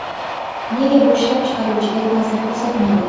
Nega bu ishlab chiqaruvchiga ta’sir ko‘rsatmaydi?